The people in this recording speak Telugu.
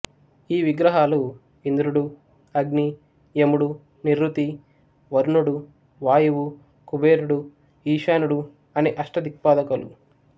ఈ విగ్రహాలు ఇంద్రుడు అగ్ని యముడు నిరృతి వరుణుడు వాయువు కుబేరుడు ఈశానుడు అనే అష్టదిక్పాదకులు